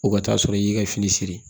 O ka t'a sɔrɔ i y'i ka fini siri